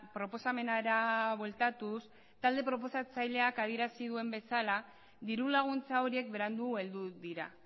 proposamenera bueltatuz talde proposatzaileak adierazi duen bezala dirulaguntza horiek berandu heldu dira